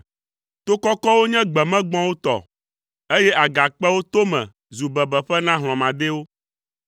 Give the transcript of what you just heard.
To kɔkɔwo nye gbemegbɔ̃wo tɔ, eye agakpewo tome zu bebeƒe na hlɔ̃madɛwo.